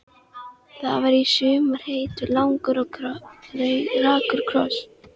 Það var í sumar heitur, langur og rakur koss.